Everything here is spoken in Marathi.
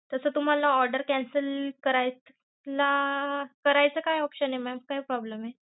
तस तुम्हाला order cancel करायला करायचं काय option आहे. mam काय problem आहे.